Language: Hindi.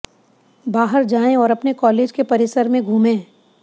बाहर जाएं और अपने कॉलेज के परिसर में घूमें